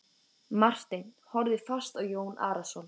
Marteinn horfði fast á Jón Arason.